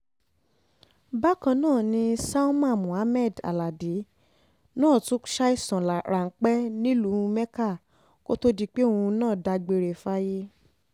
bákan náà ni salman muhammad aládé aládé náà tún ṣàìsàn ráńpẹ́ nílùú mẹ́ka kó tóó di pé òun náà dágbére fáyé